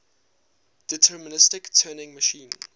deterministic turing machine